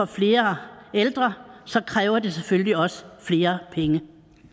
flere ældre kræver det selvfølgelig også flere penge